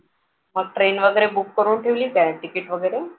मग train वगैरे book करून ठेवली काय ticket वगैरे